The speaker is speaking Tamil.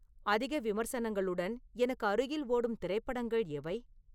அதிக விமர்சனங்களுடன் எனக்கு அருகில் ஓடும் திரைப்படங்கள் எவை